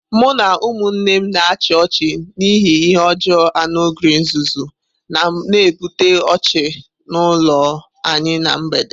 Mụ na ụmụnne m na-achị ọchị n'ihi ihe ọjọọ anu ogre nzuzu, na-ebute ọchị n'ụlọ anyị ná mgbede.